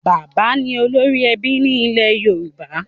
Bàbá ni olórí ẹbí ní ilẹ̀ Yorùbá.